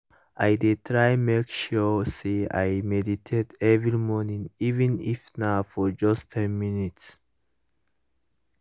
i dey try make sure say i meditate every morning even if na for just ten minutes